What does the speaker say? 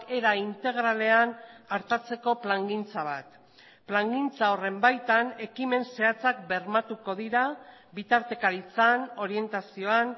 era integralean artatzeko plangintza bat plangintza horren baitan ekimen zehatzak bermatuko dira bitartekaritzan orientazioan